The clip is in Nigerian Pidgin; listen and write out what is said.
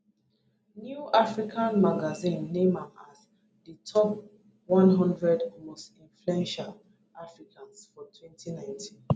new african magazine name am as di top one hundred most influential africans for 2019